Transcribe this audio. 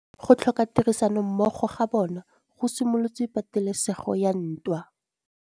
Go tlhoka tirsanommogo ga bone go simolotse patêlêsêgô ya ntwa.